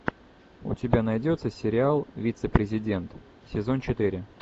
у тебя найдется сериал вице президент сезон четыре